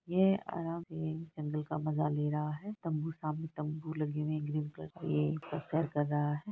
ये आराम से तंबू का मजा ले रहा है तंबू सामने तंबू लगे हुए हैं ग्रीन कलर के ये कर रहा है।